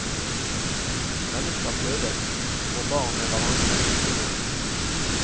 Mennesker fødes, får barn med hverandre og dør.